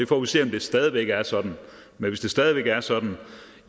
får se om det stadig væk er sådan men hvis det stadig væk er sådan